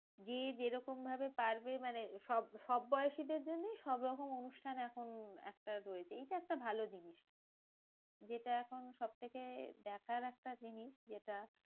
যে যেরকম ভাবে পারবে মানে সব সব বয়সীদের জন্যেই সব রকম অনুষ্ঠান এখন একটা রয়েছে এইটা একটা ভালো জিনিস। যেটা এখন সবথেকে দেখার একটা জিনিস যেটা,